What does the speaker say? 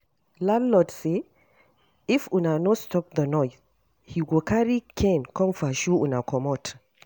Landlord say if una no stop the noise, he go carry cane come pursue una comot